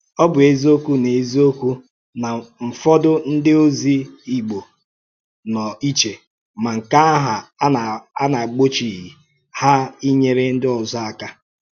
Ọ bụ́ ézìọ́kwú na ézìọ́kwú na ǹfọdù ndị òzì Ìgbò nọ̀ íchè, mà nke àhụ̀ à nà-agbòchíghị hà ínyèrè ndị òzò àkà.